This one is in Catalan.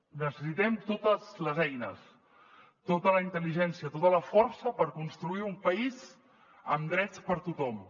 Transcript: necessitem totes les eines tota la intel·ligència tota la força per construir un país amb drets per a tothom